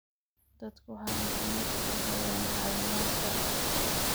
Dadku waxay internetka ka helayaan caawimaad sharci.